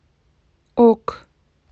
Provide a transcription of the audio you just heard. ок